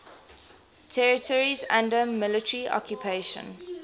territories under military occupation